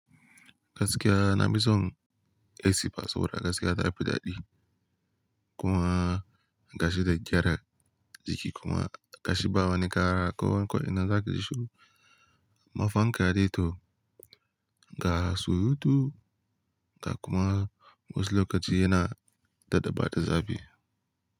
Gaskiya na fi son AC fa saboda da gaskiya ta fi daɗi kuma gashi da gyara jiki kuma gashi bawa ni kara ko wani ko'ina za kaji shiru. Kuma fanka dai to ga surutu ga kuma wasu lokaci yana daɗa ba da zafi.